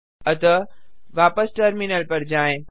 अतः वापस टर्मिनल पर जाएँ